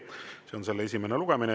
See on selle esimene lugemine.